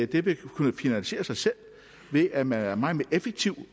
det ville kunne finansiere sig selv ved at man er meget mere effektiv